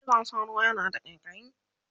cizon sauro yana da ƙaiƙayi